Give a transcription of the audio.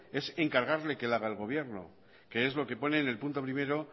es encargarle que la haga el gobierno que es lo que pone en el punto primero